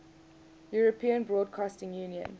european broadcasting union